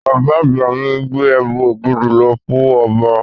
Bàbá àgbà mi gbé ẹmu ògidì lọ fún ọba.